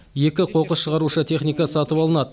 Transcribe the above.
екі қоқыс шығарушы техника сатып алынады